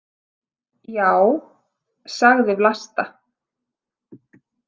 Já, sagði Vlasta.